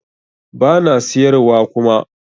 Bana siyar wa kuma